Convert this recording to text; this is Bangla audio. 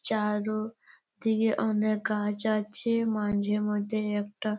চারু দিকে অনেক গাছ আছে মাঝে মধ্যে একটা--